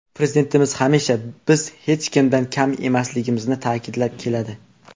Prezidentimiz hamisha biz hech kimdan kam emasligimizni ta’kidlab keladi.